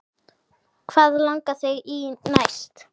Hvað langar þig í næst?